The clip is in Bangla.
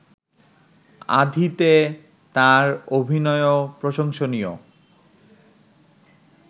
আাঁধিতে তার অভিনয়ও প্রশংসনীয়